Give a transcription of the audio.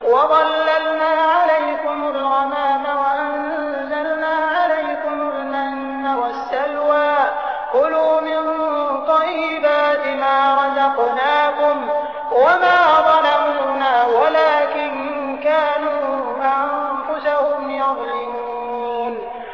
وَظَلَّلْنَا عَلَيْكُمُ الْغَمَامَ وَأَنزَلْنَا عَلَيْكُمُ الْمَنَّ وَالسَّلْوَىٰ ۖ كُلُوا مِن طَيِّبَاتِ مَا رَزَقْنَاكُمْ ۖ وَمَا ظَلَمُونَا وَلَٰكِن كَانُوا أَنفُسَهُمْ يَظْلِمُونَ